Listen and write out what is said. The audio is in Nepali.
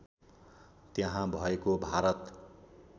त्यहाँ भएको भारत